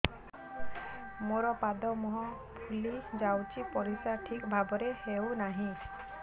ମୋର ପାଦ ମୁହଁ ଫୁଲି ଯାଉଛି ପରିସ୍ରା ଠିକ୍ ଭାବରେ ହେଉନାହିଁ